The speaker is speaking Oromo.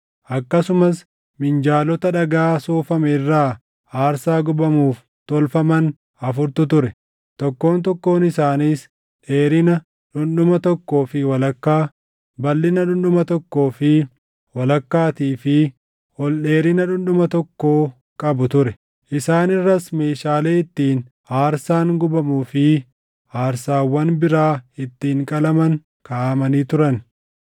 Akkasumas minjaalota dhagaa soofame irraa aarsaa gubamuuf tolfaman afurtu ture; tokkoon tokkoon isaaniis dheerina dhundhuma tokkoo fi walakkaa, balʼina dhundhuma tokkoo fi walakkaatii fi ol dheerina dhundhuma tokkoo qabu ture. Isaan irras meeshaalee ittiin aarsaan gubamuu fi aarsaawwan biraa ittiin qalaman kaaʼamanii turan.